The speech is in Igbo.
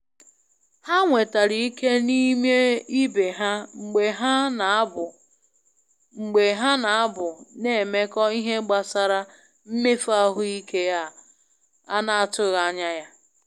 Ha nwetara ike n'ime ibe ha mgbe ha n'abu mgbe ha n'abu n'emekọ ihe gbasara mmefu ahụike a na atụghị anya ya.